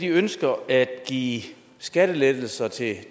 ønsker at give skattelettelser til